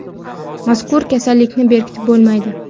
Mazkur kasallikni berkitib bo‘lmaydi.